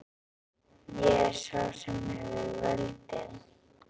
Ég er sá sem hefur völdin.